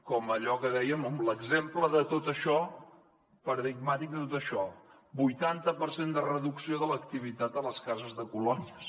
com allò que dèiem amb l’exemple paradigmàtic de tot això vuitanta per cent de reducció de l’activitat a les cases de colònies